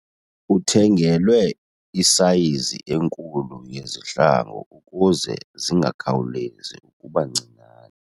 Uthengelwe isayizi enkulu yezihlangu ukuze zingakhawulezi ukuba ncinane.